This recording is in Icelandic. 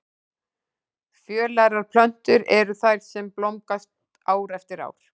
Fjölærar plöntur eru þær sem blómgast ár eftir ár.